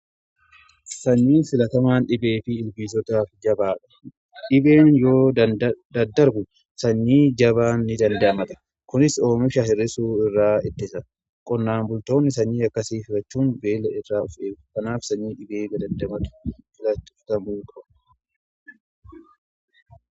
Sanyiin filatamaan dhibee fi ilbiisotaa irra jabaadha. Dhibeen yoo daddarbu sanyii jabaa ni dandamata. Kunis oomisha hir'isuu irraa ittisa qonnaan bultoonni sanyii akkasiif filachuun beela irraa of eegu kanaaf sanyii dhibee damdamatu filatu.